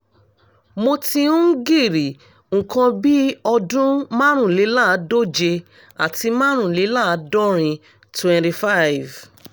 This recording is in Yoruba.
mo ti ń girí nǹkan bí ọdún márùnléláàádóje àti márùnléláàádọ́rin twenty five